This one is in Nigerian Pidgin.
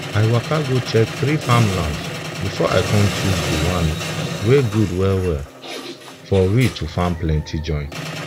i waka go check three farmlands before i com choose dey one wen gud well well for we to farm plenti join